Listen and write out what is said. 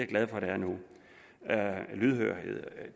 glad for at der er nu at der er lydhørhed